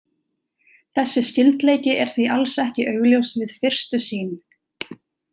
Þessi skyldleiki er því alls ekki augljós við fyrstu sýn.